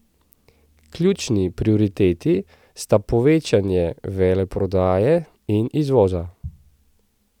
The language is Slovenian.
Ključni prioriteti sta povečanje veleprodaje in izvoza.